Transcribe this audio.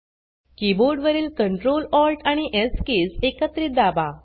keyboard वरील CtrlAlt आणि S keys एकत्रित दाबा